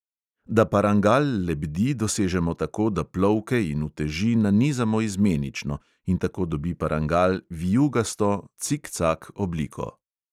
Da parangal lebdi, dosežemo tako, da plovke in uteži nanizamo izmenično, in tako dobi parangal vijugasto obliko.